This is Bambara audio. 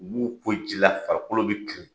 U b'u ko ji la, farikolo bɛ cun.